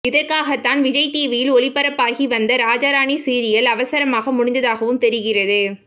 இதற்காகத்தான் விஜய் டிவியில் ஒளிபரப்பாகி வந்த ராஜா ராணி சீரியல் அவசரமாக முடிந்ததாகவும் தெரிகிறது